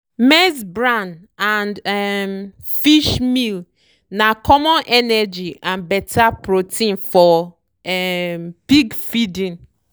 maize bran and um fish meal na common energy and better protein for um pig feeding.